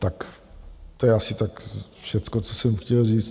Tak to je asi tak všechno, co jsem chtěl říct.